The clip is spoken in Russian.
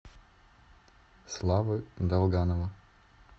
славы долганова